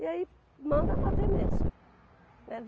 E aí, manda bater mesmo,